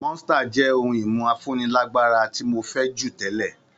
Monster jẹ́ ohun-ìmu afúnilágbára tí jù tẹ́lẹ̀.